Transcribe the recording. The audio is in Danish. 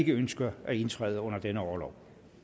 ikke ønsker at indtræde under denne orlov